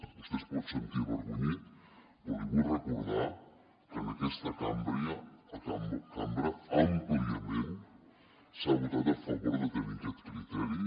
vostè es pot sentir avergonyit però li vull recordar que en aquesta cambra àmpliament s’ha votat a favor de tenir aquest criteri